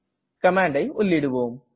கமாண்டை உள்ளிடுவோம்